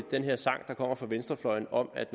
den her sang der kommer fra venstrefløjen om at